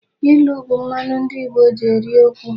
Ilu bụ mmanụ ndị Igbo ji eri okwu.